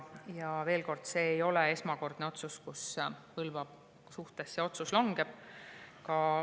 Ja veel kord, see ei ole esmakordne otsus Põlva kohta.